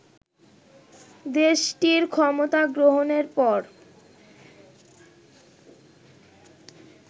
দেশটির ক্ষমতা গ্রহণের পর